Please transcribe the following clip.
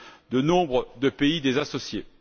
de nombre de pays associés.